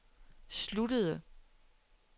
sluttede